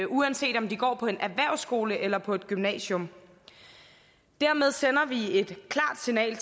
uanset om de går på en erhvervsskole eller på et gymnasium dermed sender vi et klart signal